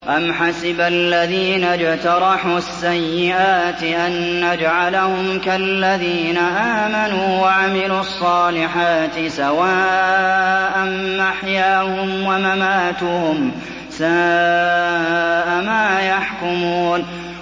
أَمْ حَسِبَ الَّذِينَ اجْتَرَحُوا السَّيِّئَاتِ أَن نَّجْعَلَهُمْ كَالَّذِينَ آمَنُوا وَعَمِلُوا الصَّالِحَاتِ سَوَاءً مَّحْيَاهُمْ وَمَمَاتُهُمْ ۚ سَاءَ مَا يَحْكُمُونَ